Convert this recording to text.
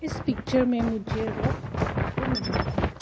इस पिक्चर में मुझे रोड देखने को मिला है।